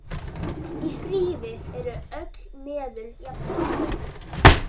Í stríði eru öll meðul jafngóð.